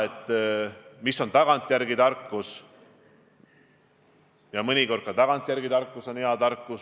Inimesed on minu meelest väga arusaajalt kogu olukorda võtnud ja väga mõistvalt käitunud.